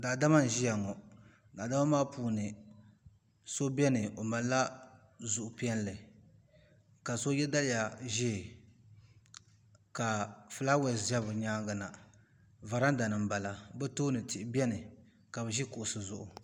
Daadama n ʒia ŋɔ daadama maa puuni so biɛni o malila zuɣu piɛlli ka so ye daliya ʒee ka filaawaasi za bɛ nyaanga na varanda ni m bala bɛ tooni tihi biɛni ka bɛ ʒi kuɣusi zuɣu.